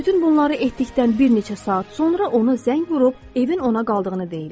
Bütün bunları etdikdən bir neçə saat sonra ona zəng vurub evin ona qaldığını deyirlər.